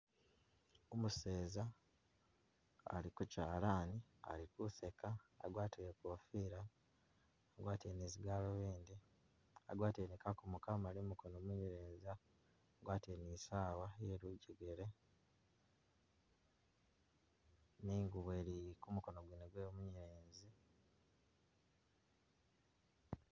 Umuseza ali kukyalani ali kuseeka, agwatile i'kofila, agwatile ni zigalubindi, agwatile kakoomo kamaali m'koono mwewe munyelezi, agwatile ni i'sawa iye lujegele ni ingubo ili kumukono gwene gwewe munyelezi.